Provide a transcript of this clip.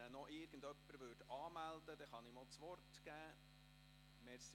Wenn ihn jemand anmelden möchte, könnte ich Grossrat Benoit das Wort geben.